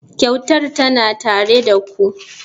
Kyautar tana tare da ku.